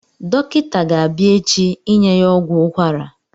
Dọkịta ga-abịa echi inye ya ọgwụ ukwara